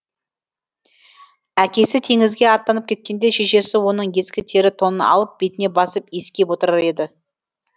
әкесі теңізге аттанып кеткенде шешесі оның ескі тері тонын алып бетіне басып иіскеп отырар еді